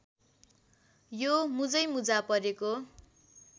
यो मुजैमुजा परेको